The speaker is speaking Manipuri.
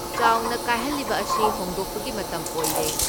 ꯆꯥꯎꯅ ꯀꯥꯏꯍꯜꯂꯤꯕ ꯑꯁꯤ ꯍꯣꯡꯗꯣꯛꯄꯒꯤ ꯃꯇꯝ ꯑꯣꯏꯔꯦ ꯫